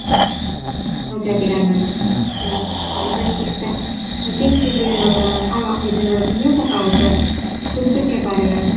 okay okay done done done இல்ல ah request குடுத்துட்டேன் i think இது என்னோட ஆமா இது என்னோட business account குடுத்திருக்கேன் பாருங்க